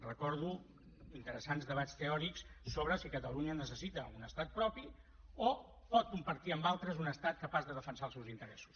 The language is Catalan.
recordo interessants debats teòrics sobre si catalunya necessita un estat propi o pot compartir amb altres un estat capaç de defensar els seus interessos